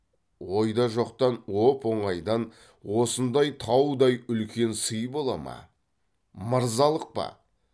ойда жоқтан оп оңайдан осындай таудай үлкен сый бола ма мырзалық па